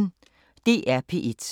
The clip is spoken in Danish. DR P1